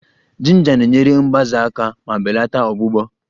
Jinja na-enyere mgbaze aka ma belata ọgbụgbọ